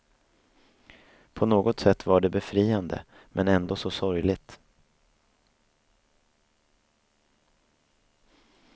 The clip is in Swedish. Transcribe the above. På något sätt var det befriande, men ändå så sorgligt.